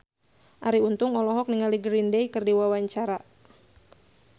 Arie Untung olohok ningali Green Day keur diwawancara